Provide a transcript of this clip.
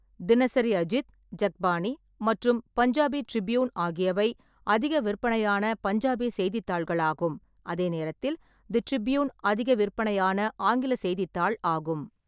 தினசரி அஜித், ஜக்பானி மற்றும் பஞ்சாபி ட்ரிப்யூன் ஆகியவை அதிக விற்பனையான பஞ்சாபி செய்தித்தாள்களாகும், அதே நேரத்தில் தி ட்ரிப்யூன் அதிக விற்பனையான ஆங்கில செய்தித்தாள் ஆகும்.